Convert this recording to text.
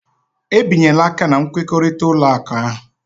Ebinyela aka na nkwekọrịta ụlọ akụ ahụ.